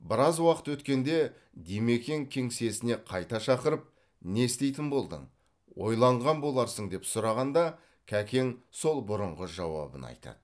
біраз уақыт өткенде димекең кеңсесіне қайта шақырып не істейтін болдың ойланған боларсың деп сұрағанда кәкең сол бұрынғы жауабын айтады